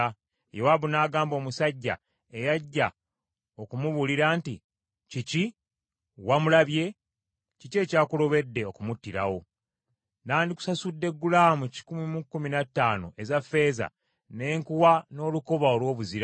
Yowaabu n’agamba omusajja eyajja okumubuulira nti, “Kiki, wamulabye? Kiki ekyakulobedde okumuttirawo? N’andikusasudde gulaamu kikumi mu kkumi na ttaano eza ffeeza ne nkuwa n’olukoba olw’obuzira.”